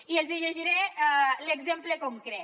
i hi els llegiré l’exemple concret